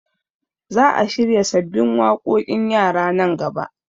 Za a shirya sabbin waƙoƙin yara nan gaba